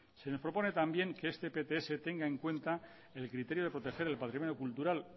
se nos propone también que este pts tenga en cuenta el criterio de proteger el patrimonio cultural